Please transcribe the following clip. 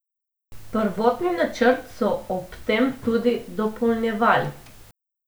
Prvotni načrt so ob tem tudi dopolnjevali.